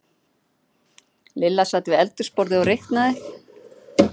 Lilla sat við eldhúsborðið og reiknaði.